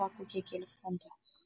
бакуге келіп қонды